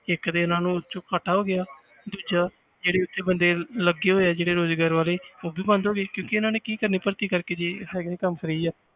ਇੱਕ ਤੇ ਇਹਨਾਂ ਨੂੰ ਉਹ 'ਚ ਘਾਟਾ ਹੋ ਗਿਆ ਦੂਜਾ ਜਿਹੜਾ ਉੱਥੇ ਬੰਦੇ ਲੱਗੇ ਹੋਏ ਆ ਜਿਹੜੇ ਰੋਜ਼ਗਾਰ ਵਾਲੇ ਉਹ ਵੀ ਬੰਦ ਹੋ ਗਏ ਕਿਉਂਕਿ ਇਹਨਾਂ ਨੇ ਕੀ ਕਰਨੀ ਭਰਤੀ ਕਰਕੇ ਜੇ ਹੈਗਾ ਹੀ ਕੰਮ free ਆ